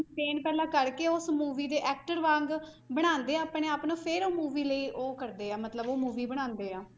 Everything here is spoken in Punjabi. Maintain ਪਹਿਲਾਂ ਕਰਕੇ ਉਸ movie ਦੇ actor ਵਾਂਗ ਬਣਾਉਂਦੇ ਆ ਆਪਣੇ ਆਪ ਨੂੰ, ਫਿਰ ਉਹ movie ਲਈ ਉਹ ਕਰਦੇ ਆ, ਮਤਲਬ ਉਹ movie ਬਣਾਉਂਦੇ ਆ,